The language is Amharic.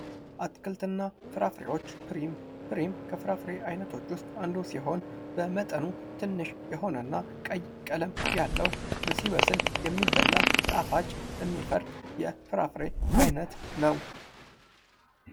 አትክልት እና ፍራፍሬዎች ፍሪም ፍሪም ከፍራፍሬ አይነቶች ውስጥ አንዱ ሲሆን በመጠኑ ትንሽ የሆነ እና ቀይ ቀለም ያለው ሲበስል የሚበላ ጣፋጭ እሚፈርጥ የፍራፍሬ አይነት ነው።